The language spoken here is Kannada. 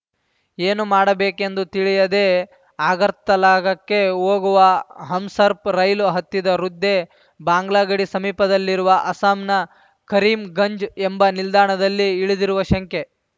ಏನು ಮಾಡಬೇಕೆಂದು ತಿಳಿಯದೆ ಅಗರ್ತಲಾಗಕ್ಕೆ ಹೋಗುವ ಹಮ್‌ಸರ್ಪ್ ರೈಲು ಹತ್ತಿದ ವೃದ್ಧೆ ಬಾಂಗ್ಲಾ ಗಡಿ ಸಮೀಪದಲ್ಲಿರುವ ಅಸ್ಸಾಂನ ಕರೀಮ್‌ಗಂಜ್‌ ಎಂಬ ನಿಲ್ದಾಣದಲ್ಲಿ ಇಳಿದಿರುವ ಶಂಕೆ